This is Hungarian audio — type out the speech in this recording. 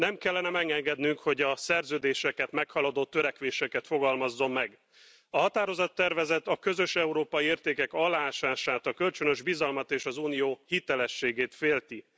Nem kellene megengednünk, hogy a szerződéseket meghaladó törekvéseket fogalmazzon meg. A határozattervezet a közös európai értékek aláásását, a kölcsönös bizalmat, és az Unió hitelességét félti.